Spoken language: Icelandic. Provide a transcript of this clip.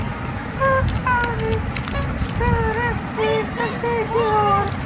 Hann sagði hins vegar ekki aukatekið orð.